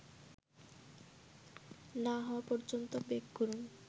না হওয়া পর্যন্ত বেক করুন